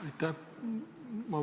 Aitäh!